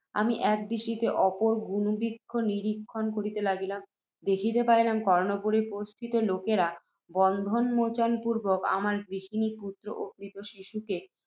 আমি এক দৃষ্টিতে অপর গুণবৃক্ষ নিরীক্ষণ করিতে লাগিলাম। দেখিতে পাইলাম, কর্ণপুরের পোতস্থিত লোকেরা, বন্ধন মোচন পূর্ব্বক, আমার গৃহিণী, পুত্ত্র ও ক্রীত শিশুকে